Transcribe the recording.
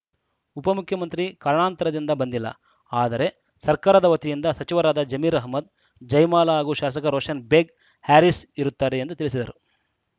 ಉಪ ಮುಖ್ಯಮಂತ್ರಿ ಕಾರಣಾಂತರದಿಂದ ಬಂದಿಲ್ಲ ಆದರೆ ಸರ್ಕಾರದ ವತಿಯಿಂದ ಸಚಿವರಾದ ಜಮೀರ್‌ ಅಹಮದ್‌ ಜಯಮಾಲಾ ಹಾಗೂ ಶಾಸಕ ರೋಷನ್‌ ಬೇಗ್‌ ಹ್ಯಾರಿಸ್‌ ಇರುತ್ತಾರೆ ಎಂದು ತಿಳಿಸಿದರು